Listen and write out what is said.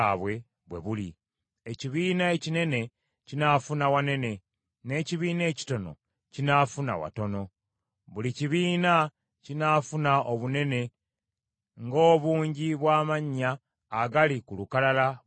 Ekibiina ekinene kinaafuna wanene, n’ekibiina ekitono kinaafuna watono. Buli kibiina kinaafuna obunene nga obungi bw’amannya agali ku lukalala bwe genkana obungi.